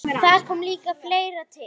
Þar kom líka fleira til.